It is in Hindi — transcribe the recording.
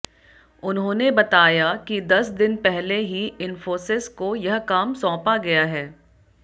उन्होंने बताया कि दस दिन पहले ही इंफोसिस को यह काम सौंपा गया है